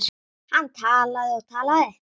Hann talaði og talaði.